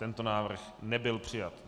Tento návrh nebyl přijat.